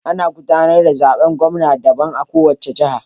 Ana gudanar da zaben gwamna daban a kowace jiha.